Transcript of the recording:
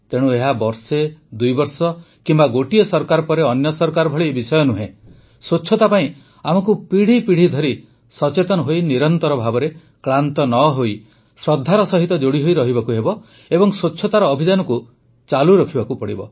ତେଣୁ ଏହା ବର୍ଷେ ଦୁଇ ବର୍ଷ କିମ୍ବା ଗୋଟିଏ ସରକାର ପରେ ଅନ୍ୟ ସରକାର ଭଳି ବିଷୟ ନୁହେଁ ସ୍ୱଚ୍ଛତା ପାଇଁ ଆମକୁ ପିଢ଼ି ପିଢ଼ି ଧରି ସଚେତନ ହୋଇ ନିରନ୍ତର ଭାବେ କ୍ଳାନ୍ତ ନ ହୋଇ ଶ୍ରଦ୍ଧା ସହ ଯୋଡ଼ି ହୋଇ ରହିବାକୁ ହେବ ଏବଂ ସ୍ୱଚ୍ଛତାର ଅଭିଯାନକୁ ଚାଲୁ ରଖିବାକୁ ହେବ